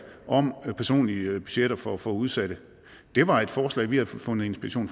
om personlige budgetter for for udsatte var et forslag vi havde fundet inspiration